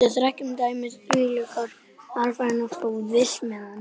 Við þekkjum dæmi um þvílíkar aðfarir frá Sviss, meðan